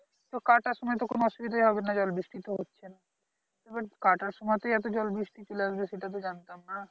তো কাটার সময়ে তো কোনো অসুবিধাই হবে না জল বৃষ্টি তো হচ্ছে না এবার কাটার সময়তেই এত জল বৃষ্টি চলে আসবে সেটা তো জানতাম না